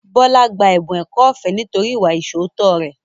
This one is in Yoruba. Bọlá gba ẹ̀bùn ẹ̀kọ́ ọ̀fẹ́ nítorí ìwà ìṣóòótọ́ rẹ̀